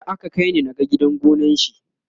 jiya aka kaini na gan gidan gonan shi